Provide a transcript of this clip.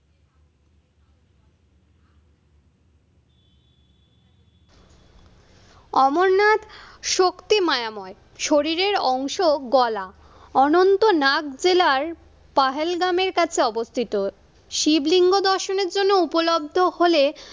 অমরনাথ শক্তি মায়াময় শরীরের অংশ গলা অনন্তনাগ জেলার পাহেলগ্রামের কাছে অবস্থিত। শিবলিঙ্গ দর্শনের জন্য উপলব্ধ হলে